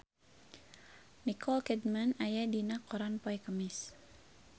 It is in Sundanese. Nicole Kidman aya dina koran poe Kemis